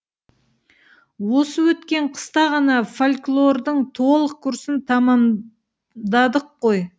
осы өткен қыста ғана фольклордың толық курсын тәмамдадық қой